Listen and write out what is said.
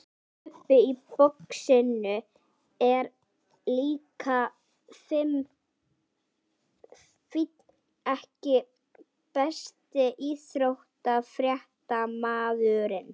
Bubbi í boxinu er líka fínn EKKI besti íþróttafréttamaðurinn?